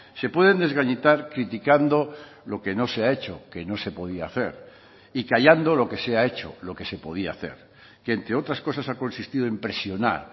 se pueden desgallitar criticando lo que no se ha hecho que no se podía hacer y callando lo que se ha hecho lo que se podía hacer que entre otras cosas ha consistido en presionar